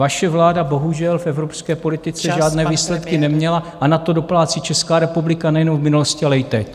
Vaše vláda bohužel v evropské politice žádné výsledky neměla a na to doplácí Česká republika nejenom v minulosti, ale i teď.